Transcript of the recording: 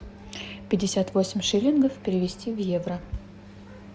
пятьдесят восемь шиллингов перевести в евро